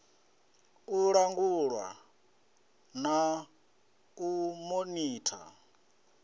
u langulwa na u monitha